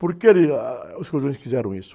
Por que, ah, os cordões fizeram isso?